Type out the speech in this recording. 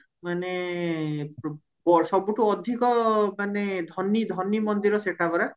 ମାନେ ବ ସବୁଠୁ ଅଧିକ ମାନେ ଧନୀ ଧନୀ ମନ୍ଦିର ସେଟା ପରା